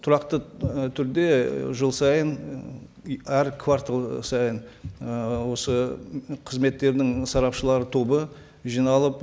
тұрақты і түрде і жыл сайын і әр квартал сайын ыыы осы қызметтердің сарапшылар тобы жиналып